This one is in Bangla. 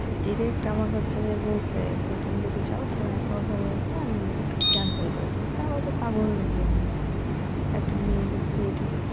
ডিরেক্ট আমার হচ্ছে যে বলছে যে তুমি যদি চাও তাহলে এখনও সময় আছে আমি কেনসেল করে দেই তো আমি বলছি পাগল নাকি আমি একটা মেয়ের সাথে বিয়ে ঠিক